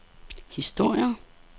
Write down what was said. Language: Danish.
historier